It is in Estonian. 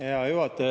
Hea juhataja!